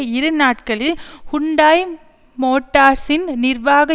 இரு நாட்களில் ஹுண்டாய் மோட்டார்ஸின் நிர்வாக